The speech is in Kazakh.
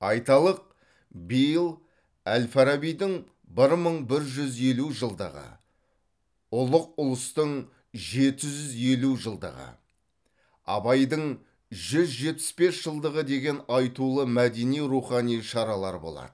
айталық биыл әл фарабидің бір мың бір жүз елу жылдығы ұлық ұлыстың жеті жүз елу жылдығы абайдың жүз жетпіс бес жылдығы деген айтулы мәдени рухани шаралар болады